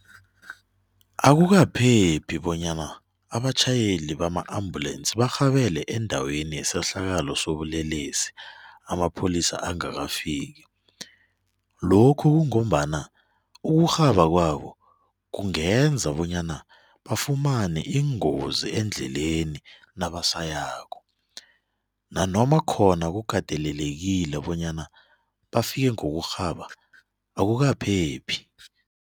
Akukaphephi bonyana abatjhayeli bama-ambulensi barhabele endaweni yesehlakalo sobulelesi amapholisa angakafiki, lokhu kungombana ukurhaba kwabo kungenza bonyana bafumane iingozi endleleni nabasayako nanoma khona kukatelelekile bonyana bafike ngokurhaba akukaphephi.